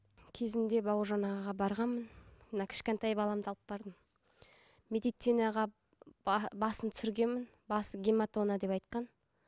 кезінде бауыржан ағаға барғанмын мына кішкентай баламды алып бардым медицинаға басын түсіргенмін басын гематома деп айтқан